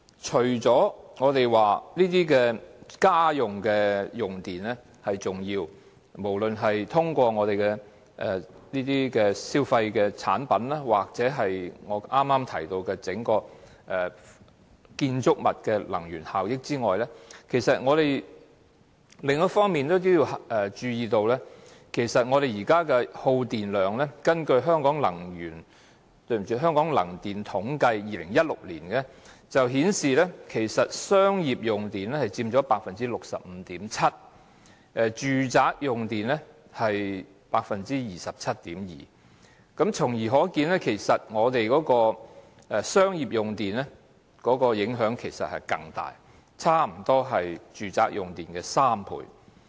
除了家居用電量佔頗重比例，無論是通過消費產品或剛才提到整幢建築物的能源消耗外，我們也要注意其他方面的耗電量，根據《香港能源統計年刊2016年版》顯示，商業用戶的用電量佔 65.7%， 而住宅用戶的用電量則佔 27.2%， 由此可見，商業用戶的用電量更大，差不多是住宅用戶的3倍。